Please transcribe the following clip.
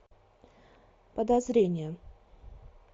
подозрение